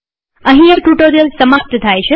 અહીં આ ટ્યુ્ટોરીઅલ સમાપ્ત થાય છે